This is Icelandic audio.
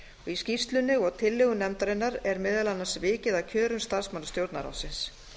í skýrslunni og tillögum nefndarinnar er meðal annars vikið að kjörum starfsmanna stjórnarráðsins